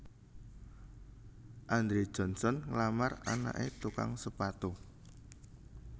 Andrew Johnson nglamar anaké tukang sepatu